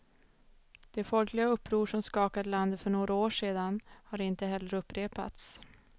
De folkliga uppror som skakade landet för några år sedan har inte heller upprepats.